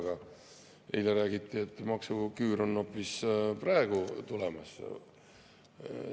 Aga eile räägiti, et maksuküür on hoopis praegu tulemas.